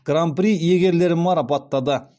гран при иегерлерін марапаттады